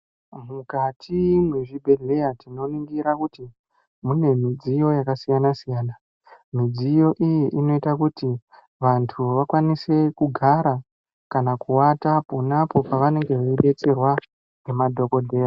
Mukati mwezvibhedhlera tinoningire kuti mune midziyo yakasiyana siyana. Midziyo iyi inoita kuti vantu vakwanise kugara kana kuwata ponapo pavanenge zvedetserwa nemadhokodheya.